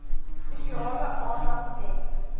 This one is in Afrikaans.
spesiale aandag skenk